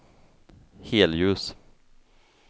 helljus